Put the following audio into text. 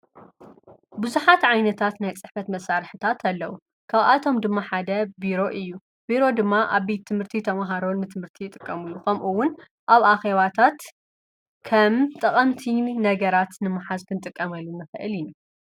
ብዙኃት ዓይነታት ናይ ጽሕፈት መሣርሕታት ኣለዉ ካብኣቶም ድማ ሓደ ቢሮ እዩ ቢሮ ድማ ኣብ ቤት ትምህርቲ ተምሃሮን ትምህርቲ ይጥቀሙሉ ኸምኡውን ኣብ ኣኼባታት ከም ጠቐምቲ ነገራት ንመሓዝን ጥቀመሉ እዩ።